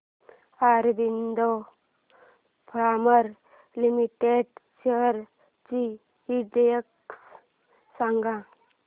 Aurobindo pharma limited shares चा index सांगा